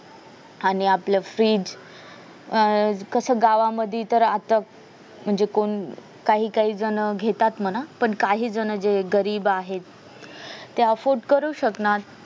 आणि आपलं fridge अह कस गावांमध्ये तर आता म्हणजे कोण काही काही जण घेतात म्हणा पण काही जण जे गरीब आहेत ते afford करू शकणार